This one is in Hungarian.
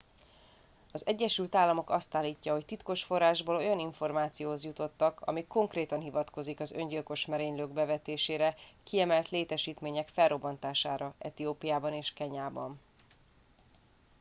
"az egyesült államok azt állítja hogy titkos forrásból olyan információhoz jutottak ami konkrétan hivatkozik az öngyilkos merénylők bevetésére "kiemelt létesítmények" felrobbantására etiópiában és kenyában.